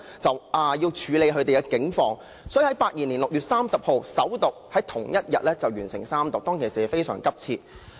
該條例草案於1982年6月30日首讀，並於同一天完成三讀，當時的情況相當急切。